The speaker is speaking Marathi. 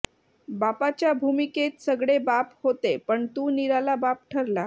बापाच्या भूमिकेत सगळे बाप होते पण तू निराला बाप ठरला